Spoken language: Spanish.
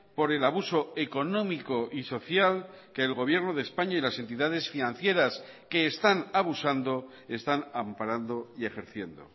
por el abuso económico y social que el gobierno de españa y las entidades financieras que están abusando están amparando y ejerciendo